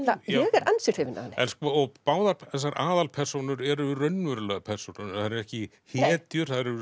er ansi hrifin af henni báðar þessar aðalpersónur eru raunverulegar persónur þær eru ekki hetjur þær eru